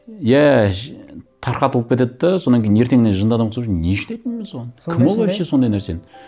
иә тарқатылып кетеді де содан кейін ертеңіне жынды адам ұқсап не үшін айттым мен соны кім ол вообще сондай нәрсені